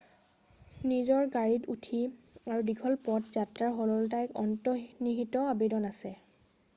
নিজৰ গাড়ীত উঠি আৰু দীঘল পথ যাত্ৰাৰ সৰলতাত এটা অন্তৰ্নিহিত আবেদন আছে